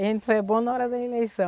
A gente só é bom na hora da eleição.